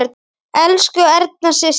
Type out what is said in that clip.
Elsku Erna systir.